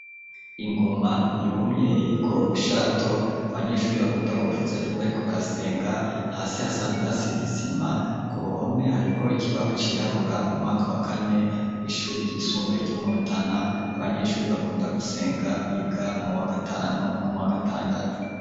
Ingoma yumye, iriko urushato, abanyeshuri, bakunda kuvuza, iyo bariko barasenga; hasi hasanzwe, hasize isima, ku ruhome, hariko ikibaho cirabura; mu mwaka wa kane, w'ishuri ryisumbuye, ryo mu Rutana; abanyeshuri bakunda gusenga, biga mu wa gatanu, no mu wa gatandatu.